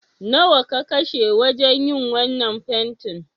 Nawa ka kashe wajen yin wannan fentin?